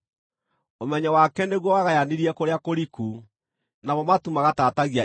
ũmenyo wake nĩguo wagayanirie kũrĩa kũriku, namo matu magatatagia ime.